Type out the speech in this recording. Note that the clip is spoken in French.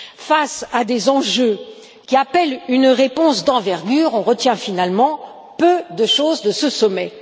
Face à des enjeux qui appellent une réponse d'envergure, on retient finalement peu de choses de ce sommet.